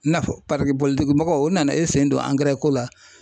N'a fɔ mɔgɔ, u nana e sen don ko la